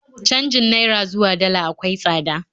Canjin Naira zuwa Dala akwai tsada